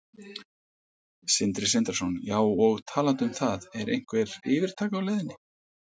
Sindri Sindrason: Já, og talandi um það, er einhver yfirtaka á leiðinni?